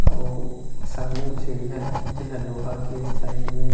अउ सामने में सीढ़िया है जहां लोहा के साइड में।